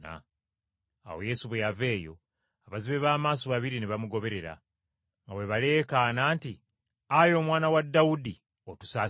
Awo Yesu bwe yava eyo, abazibe b’amaaso babiri ne bamugoberera nga bwe baleekaana nti, “Ayi Omwana wa Dawudi, otusaasire!”